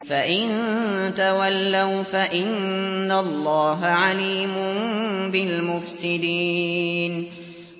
فَإِن تَوَلَّوْا فَإِنَّ اللَّهَ عَلِيمٌ بِالْمُفْسِدِينَ